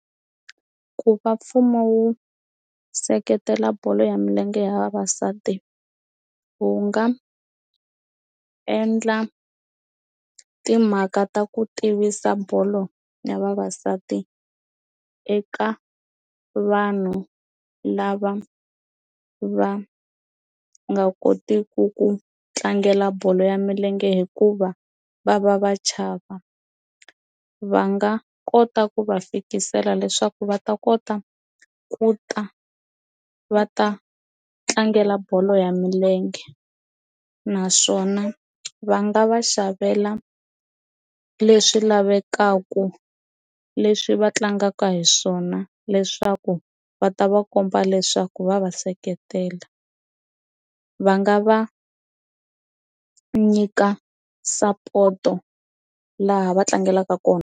Ku va mfumo wu seketela bolo ya milenge ya vavasati wu nga endla timhaka ta ku tivisa bolo ya vavasati eka vanhu lava va nga kotiti ku ku tlangela bolo ya milenge hikuva va va va chava va nga kota ku va fikisela leswaku va ta kota ku ta va ta tlangela bolo ya milenge naswona va nga va xavela leswi lavekaka leswi va tlangaka hi swona leswaku va ta va komba leswaku va va seketela va nga va nyika sapoto laha va tlangelaka kona.